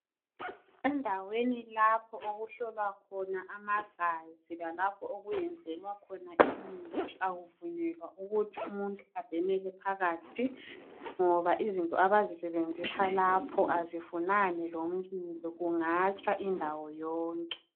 Endaweni lapho okuhlolwa khona amagazi lalapho kwenzelwa khona imithi akuvunyelwa ukuthi umuntu abhemele phakathi ngoba izinto abazisebenzisa lapho azifunani lomlilo kungatsha indawo yonke.